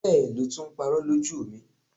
Bẹ́ẹ̀ lo tún ń parọ́ lójú mi.